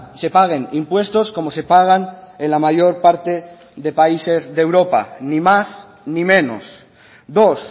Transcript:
se paguen impuestos como se pagan en la mayor parte de países de europa ni más ni menos dos